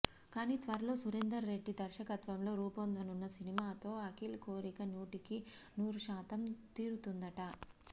కానీ త్వరలో సురేందర్ రెడ్డి దర్శకత్వంలో రూపొందనున్న సినిమాతో అఖిల్ కోరిక నూటికి నూరు శాతం తీరుతుందట